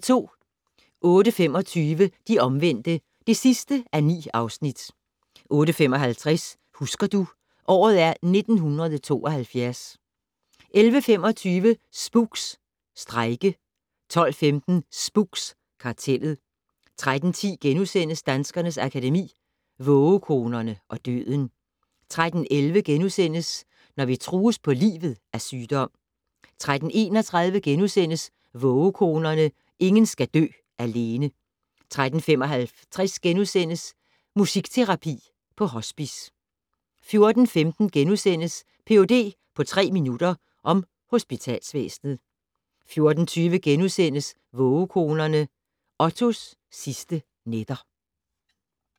08:25: De omvendte (9:9) 08:55: Husker du - året er 1972 11:25: Spooks: Strejke 12:15: Spooks: Kartellet 13:10: Danskernes Akademi: Vågekonerne og døden * 13:11: Når vi trues på livet af sygdom * 13:31: Vågekonerne - ingen skal dø alene * 13:55: Musikterapi på hospice * 14:15: Ph.d. på tre minutter - om hospitalsvæsenet * 14:20: Vågekonerne - Ottos sidste nætter *